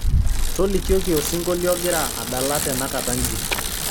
tolikioki osingolio ogira adala tenakata nji